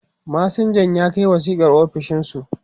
masinjan ya Kai wasiƙar ofishinsu